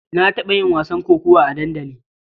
Na taɓa yin wasan kokawa a dandali.